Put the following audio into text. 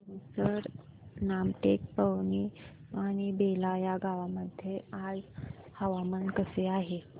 तुमसर रामटेक पवनी आणि बेला या गावांमध्ये आज हवामान कसे आहे